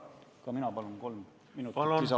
Ka mina palun kolm minutit lisaaega!